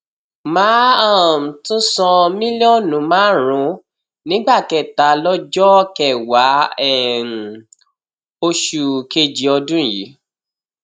má a um tún san mílíọnù márùnún nígbà kẹta lọjọ kẹwàá um oṣù kejì ọdún yìí